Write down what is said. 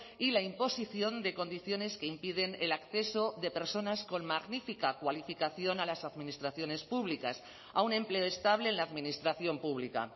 y la imposición de condiciones que impiden el acceso de personas con magnífica cualificación a las administraciones públicas a un empleo estable en la administración pública